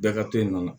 Bɛɛ ka to yen nɔ